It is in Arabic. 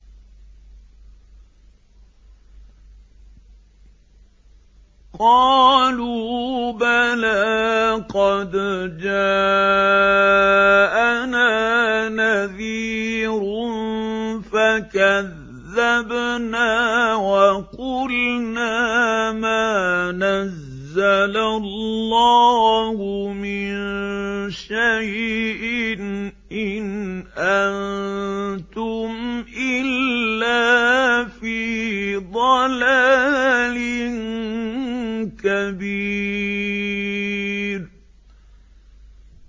قَالُوا بَلَىٰ قَدْ جَاءَنَا نَذِيرٌ فَكَذَّبْنَا وَقُلْنَا مَا نَزَّلَ اللَّهُ مِن شَيْءٍ إِنْ أَنتُمْ إِلَّا فِي ضَلَالٍ كَبِيرٍ